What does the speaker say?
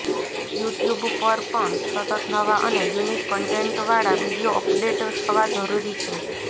YouTube પર પણ સતત નવા અને યૂનિક કન્ટેન્ટવાળા વીડિયો અપડેટ થવા જરૂરી છે